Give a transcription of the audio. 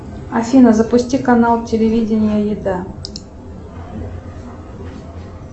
афина запусти канал телевидение еда